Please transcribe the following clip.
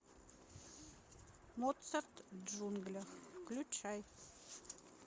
моцарт в джунглях включай